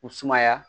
U sumaya